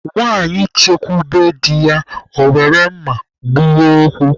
Nwanyị chekwube di ya, ọ were mma gbuwaa okwu